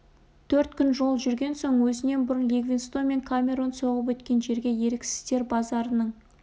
төрт күн жол жүрген соң өзінен бұрын ливингстон мен камерон соғып өткен жерге еріксіздер базарының